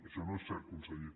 això no és cert conseller